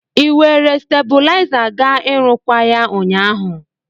Ị were stebụlaiza ga ịrụkwaa ya ụnyaahụ?